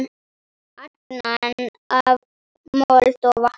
Angan af mold og vatni.